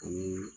Ani